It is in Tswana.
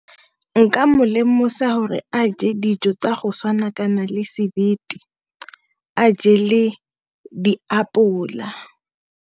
Nka mo lemosa hore a je dijo tsa go tshwana le sebete ba je le di apola.